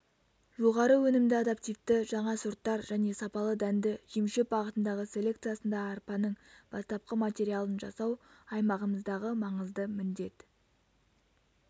жоғары өнімді адаптивті жаңа сорттар және сапалы дәнді жемшөп бағытындағы селекциясында арпаның бастапқы материалын жасау аймағымыздағы маңызды міндет